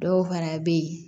Dɔw fana bɛ yen